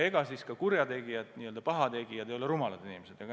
Ega siis kurjategijad või n-ö pahategijad ei ole rumalad inimesed.